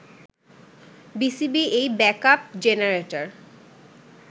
BCB এই backup generator